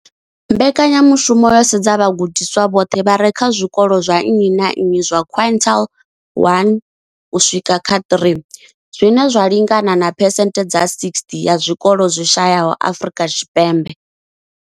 Mbekanyamushumo yo sedza vhagudiswa vhoṱhe vha re kha zwikolo zwa nnyi na nnyi zwa quintile 1 u swika kha 3, zwine zwa lingana na phesenthe dza 60 ya zwikolo zwi shayesaho Afrika Tshipembe.